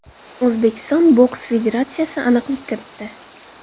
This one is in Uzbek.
O‘zbekiston boks federatsiyasi aniqlik kiritdi.